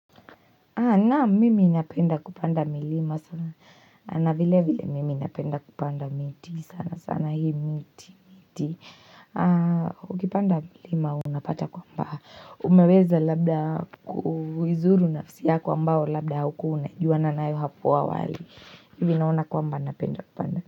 Naam mimi napenda kupanda milima sana, na vile vile mimi napenda kupanda miti, sana sana hii miti, miti, ukipanda milima unapata kwamba, umeweza labda kuizuru nafsi yako ambao labda haukuwa, unajuana nayo hapo awali, hivi naona kwamba napenda kupanda.